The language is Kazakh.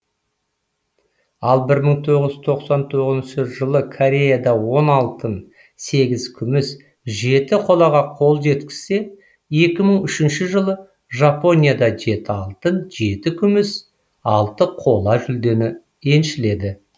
ал бір мың тоғыз жүз тоқсан тоғызыншы жылы кореяда он алтын сегіз күміс жеті қолаға қол жеткізсе екі мың үшінші жылы жапонияда жеті алтын жеті күміс алты қола жүлдені еншіледі